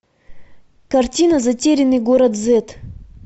картина затерянный город зет